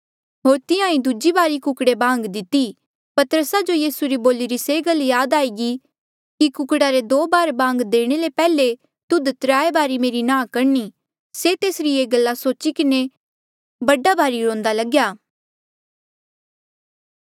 होर तिहां ईं दूजी बारी कुकड़े बांग दिती पतरसा जो यीसू री बोलिरी ये गल याद आई कि कुकड़ा रे दो बार बांग देणे ले पैहले तुध त्राय बारी मेरी नांह करणी से तेसरी ये गल्ला सोची किन्हें बड़ा भारी रोंदा लग्या